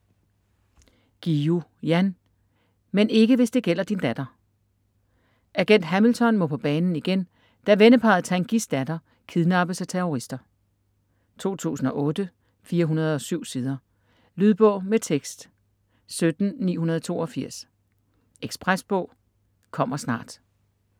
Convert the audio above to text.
Guillou, Jan: Men ikke hvis det gælder din datter Agent Hamilton må på banen igen, da venneparret Tanguys datter kidnappes af terrorister. 2008, 407 sider. Lydbog med tekst 17982 Ekspresbog - kommer snart